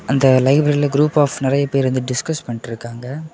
அந்த லைப்ரரில group of நிறைய பேர் வந்து டிஸ்கஸ் பண்ணிட்ருக்காங்க.